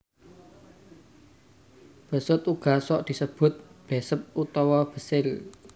Besut uga sok disebut Besep utawa Besil